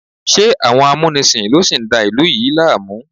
Ṣé àwọn amúnisìn ló sì ń da ìlú yìí láàmú?